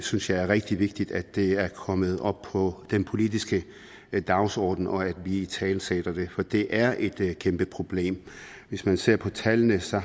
synes det er rigtig vigtigt at det er kommet op på den politiske dagsorden og at vi italesætter det for det er et kæmpeproblem hvis man ser på tallene ser